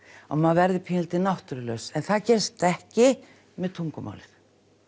og maður verði pínulítið náttúrulaus en það gerist ekki með tungumálið